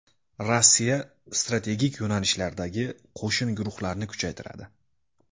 Rossiya strategik yo‘nalishlardagi qo‘shin guruhlarini kuchaytiradi.